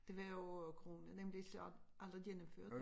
Det var jo corona nemlig så alle gennemførte